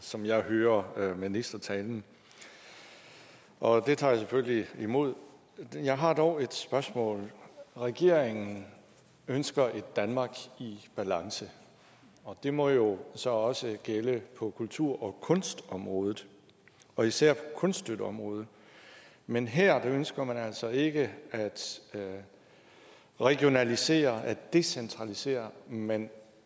som jeg hører ministertalen og det tager jeg selvfølgelig imod jeg har dog et spørgsmål regeringen ønsker et danmark i balance og det må jo så også gælde på kultur og kunstområdet og især på kunststøtteområdet men her ønsker man altså ikke at regionalisere at decentralisere men